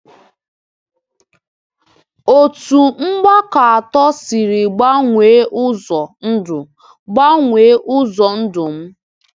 Otu mgbakọ atọ siri gbanwee ụzọ ndụ gbanwee ụzọ ndụ m.